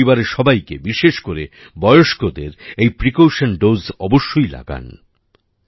আপনার পরিবারের সবাইকে বিশেষ করে বয়স্কদের এই প্রিকাউশন দোসে অবশ্যই লাগান